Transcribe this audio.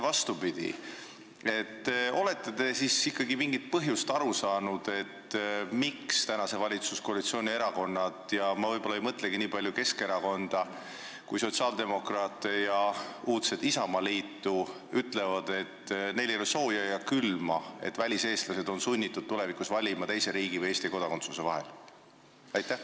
Kas te olete ikkagi aru saanud, mis põhjusel valitsuskoalitsiooni erakonnad – ja ma ei mõtlegi niivõrd Keskerakonda, kuivõrd sotsiaaldemokraate ja uudset Isamaad – ütlevad, et neil ei ole sooja ega külma, kui väliseestlased on sunnitud valima teise riigi ja Eesti kodakondsuse vahel?